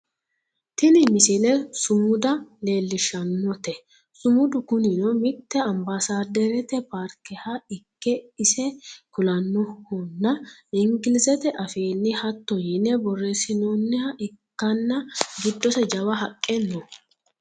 tini misile sumuda leellishshannote sumudu kunino mitte ambaasaaddarete paarkeha ikke ise kulannohonna inglizete afiinni hatto yine borreessinooniho ikkanna giddose jawa haqqe no